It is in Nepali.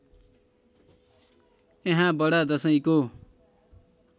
यहाँ बडा दशैँको